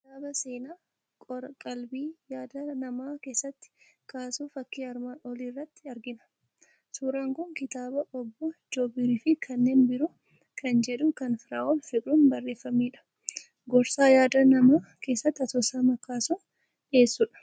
Kitaaba seenaa qor-qalbii yaada namaa keessatti kaasu fakkii armaan olii irratti argina. Suuraan kun kitaaba "Obbo Joobir fi Kanneen Biroo" kan jedhu, kan Firaa'ol Fiqiruun barreeffamedha. Gorsa yaada namaa keessatti asoosama kaasuun dhiyeessudha.